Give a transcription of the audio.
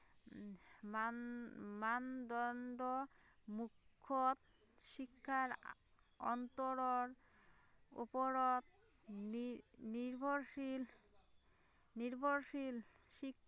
মান মানদণ্ড মূখ্যত শিক্ষাৰ অন্তৰৰ উপৰত নি নিৰ্ভৰশীল, নিৰ্ভৰশীল, শিক্ষা